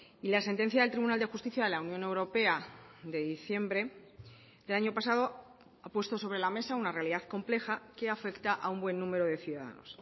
y la sentencia del tribunal de justicia de la unión europea de diciembre del año pasado ha puesto sobre la mesa una realidad compleja que afecta a un buen número de ciudadanos